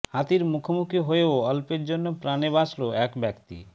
হাতির মুখোমুখি হয়েও অল্পের জন্য প্রাণে বাঁচলো এক ব্যক্তি